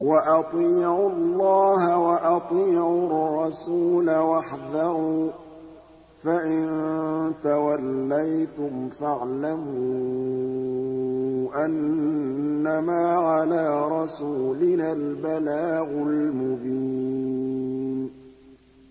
وَأَطِيعُوا اللَّهَ وَأَطِيعُوا الرَّسُولَ وَاحْذَرُوا ۚ فَإِن تَوَلَّيْتُمْ فَاعْلَمُوا أَنَّمَا عَلَىٰ رَسُولِنَا الْبَلَاغُ الْمُبِينُ